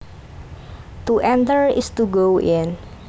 To enter is to go in